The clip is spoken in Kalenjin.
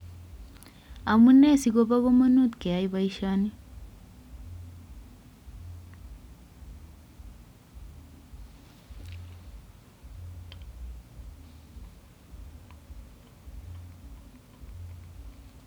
Amunee siko kamanut keyai boisyoni